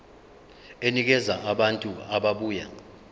enikeza abantu ababuya